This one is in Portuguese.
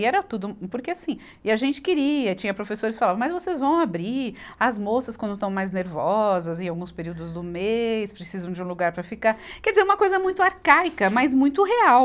E era tudo, porque assim, e a gente queria, tinha professores que falavam, mas vocês vão abrir, as moças quando estão mais nervosas, em alguns períodos do mês, precisam de um lugar para ficar, quer dizer, uma coisa muito arcaica, mas muito real.